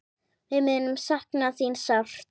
Við munum sakna þín sárt.